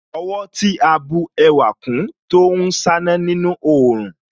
Ọwọ́ tí a bù ẹwà kún Tó ń ṣáná nínú òòrùn